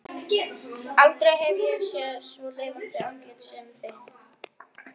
Aldrei hef ég séð svo lifandi andlit sem þitt.